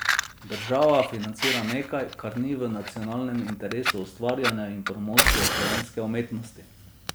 Država financira nekaj, kar ni v nacionalnem interesu ustvarjanja in promocije slovenske umetnosti.